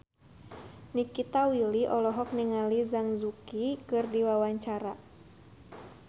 Nikita Willy olohok ningali Zhang Yuqi keur diwawancara